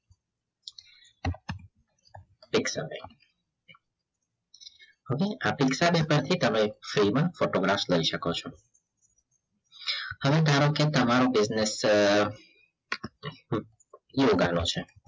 pics away હવે તમે free માં photograph લઈ શકો છો હવે ધારો કે તમારો business છે યોગા નો છે